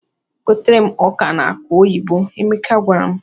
"Gotere m ọka na akụ oyibo," Emeka gwara m.